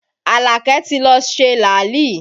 Alake ti lọ ṣe làálì